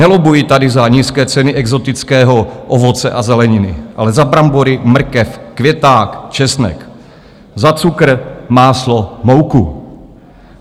Nelobbuji tady za nízké ceny exotického ovoce a zeleniny, ale za brambory, mrkev, květák, česnek, za cukr, máslo, mouku.